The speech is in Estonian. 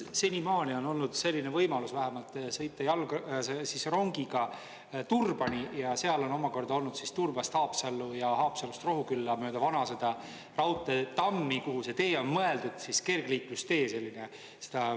Senimaani on olnud selline võimalus vähemalt sõita rongiga Turbani ja seal on omakorda olnud Turbast Haapsallu ja Haapsalust Rohukülla mööda vana sõda raudteetammi, kuhu see tee on mõeldud, kergliiklustee selline.